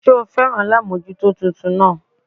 Sé o féràn alámójútó titun náà